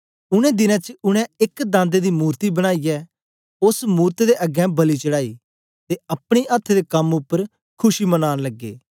उनै दिनें च उनै एक दांदे दी मूर्ति बनाईयै ओस मूरत दे अगें बलि चढ़ांई ते अपने अथ्थ दे कम उपर खुशी मनान लगे